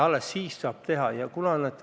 Alles siis on see võimalik.